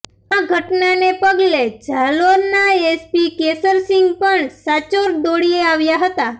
આ ઘટનાને પગલે જાલોરના એસપી કેશરસીંગ પણ સાંચોર દોડી આવ્યા હતા